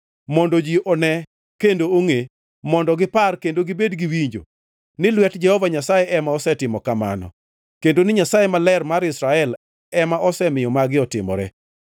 mondo ji one kendo ongʼe, mondo gipar kendo gibed giwinjo, ni lwet Jehova Nyasaye ema osetimo kamano, kendo ni Nyasaye Maler mar Israel ema osemiyo magi otimore.”